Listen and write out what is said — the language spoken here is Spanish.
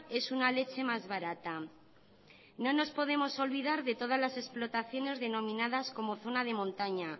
es una leche más barata no nos podemos olvidar de todas las explotaciones denominadas como zona de montaña